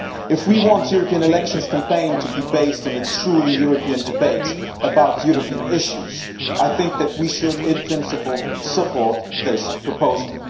If we want a European election campaign to be based on a truly European debate about European issues, I think that we should, in principle, support this proposal.